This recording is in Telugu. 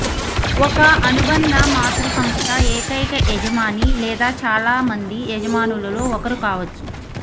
ఒక అనుబంధ మాతృ సంస్థ ఏకైక యజమాని లేదా చాలా మంది యజమానులలో ఒకరు కావచ్చు